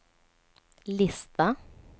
lista